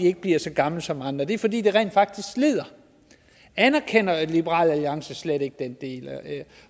ikke bliver så gamle som andre og det er fordi det rent faktisk slider anerkender liberal alliances slet ikke den del